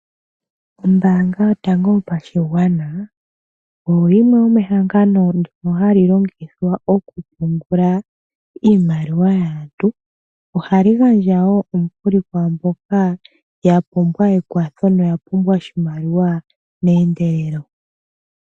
Ombaanga yotango yopashigwana. Oyo yimwe yomehangano ndyono hali longithwa oku pungula iimaliwa yaantu. Ohayi gandja woo omukuli kwaamboka ya pumbwa ekwatho no ya pumbwa oshimaliwa meendelelo.